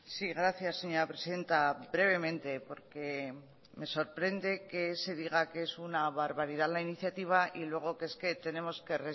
sí gracias señora presidenta brevemente porque me sorprende que se diga que es una barbaridad la iniciativa y luego que es que tenemos que